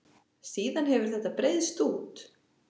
Síðan hefur þetta breiðst út.